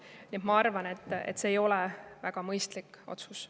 Nii et ma arvan, et see ei ole väga mõistlik otsus.